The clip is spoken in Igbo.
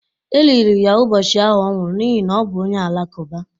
E liri ya ụbọchị ahụ ọ nwụrụ n’ihi na ọ bụ onye Alakụba.